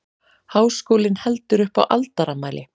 Háskólinn heldur upp á aldarafmæli